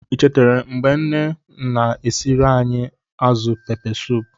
Echetere m mgbe nne m na-esiere anyị azụ Pepesoopu.